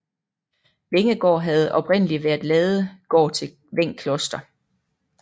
Wengegaard havde oprindelig været ladegård til Veng Kloster